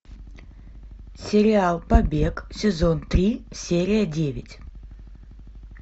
сериал побег сезон три серия девять